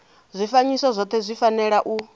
zwifanyiso zwothe zwi fanela u